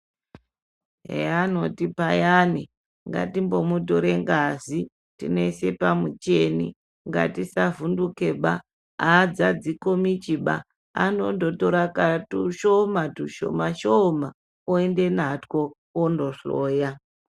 Eya anoti payani ngatimbomutore ngazi tinoise pamuchini ngatisavhundukeba adzadzi komichba anondotora tushoma, tushomashoma oenda natwo ondohloya.